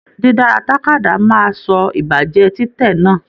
Didara tàkádá náà máa sọ ibájáde titẹ̀ náà.